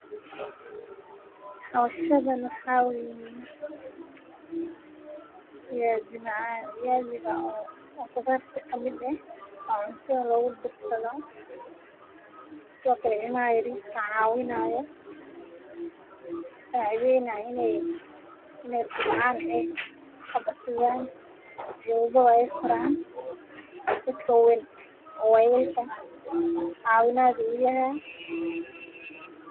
Hoowshani waxa weeyi Viazi macan viazi ga o khidarta ka mid aah wa cunto lagudarsado sido kale ilmaha yariska cawinayo saacidwynaya in ay kubcan ay habsidan ay koraan. Dadka waweyn wayelka cawinaad u uyahay.